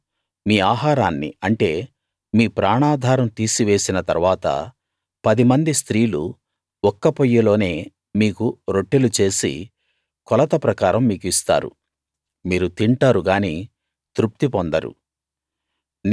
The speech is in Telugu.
నేను మీ ఆహారాన్ని అంటే మీ ప్రాణాధారం తీసేసిన తరువాత పదిమంది స్త్రీలు ఒక్క పొయ్యిలోనే మీకు రొట్టెలు చేసి కొలత ప్రకారం మీకు ఇస్తారు మీరు తింటారు గాని తృప్తి పొందరు